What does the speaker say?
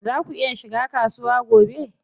Zaa ku iya shiga kasuwa gobe?